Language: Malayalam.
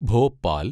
ഭോപാൽ